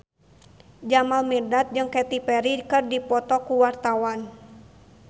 Jamal Mirdad jeung Katy Perry keur dipoto ku wartawan